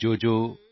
ਜੋਜੋਜੋ ਜੋ